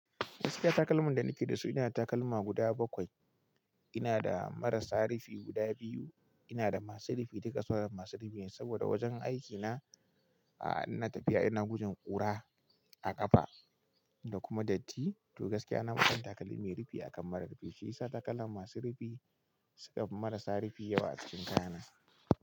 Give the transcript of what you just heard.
Gaskiya takalman da nake da su inada takalma guda bakwai. Ina da marasa rufi guda biyu. Ina da masu rufi, duka suwa masu rufi ne saboda wajen aikina a ina tafiya ina gujin ƙura a ƙafa da kuma datti. To gaskiya na fi son takalmi mai rufi akan mara rufi. Shi yasa takalma masu rufi suka fi marasa rufi yawa a cikin kayana.